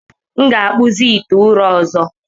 M ga-akpụzi ite ụrọ ọzọ.